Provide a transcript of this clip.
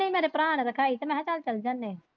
ਮੇਰੇ ਭਰਾ ਨੇ ਰਖਾਈ ਤੇ ਮੈਂ ਕਿਹਾ ਚੱਲ ਜਾਵਾਂਗੇ।